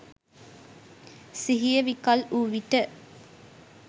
සිහිය විකල් වූ විට